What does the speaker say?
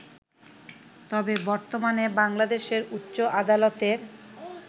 তবে বর্তমানে বাংলাদেশের উচ্চ আদালতের